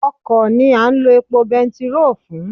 Ọkọ̀ ni a ń lo epo bẹntiróò fún.